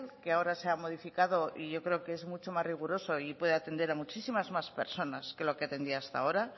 que ahora se ha modificado y yo creo que es mucho más riguroso y puede atender a muchísimas más personas que lo que atendía hasta ahora